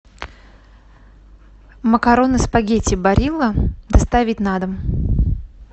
макароны спагетти барилла доставить на дом